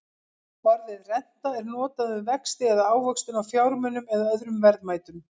Orðið renta er notað um vexti eða ávöxtun á fjármunum eða öðrum verðmætum.